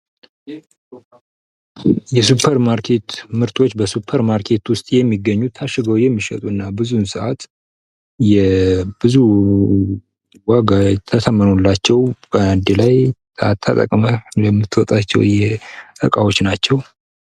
የሱፐር ማርኬት ምርቶች በ ሱፐር በማርኬት ውስጥ የሚገኙ እና ታሸገው የሚሸጡ እና ብዙውን ሰዓት ብዙ ዋጋ ተተምኖላቸው በአንድ ላይ ተጠቅመህ የምትወጣቸው እቃዎች ናቸው።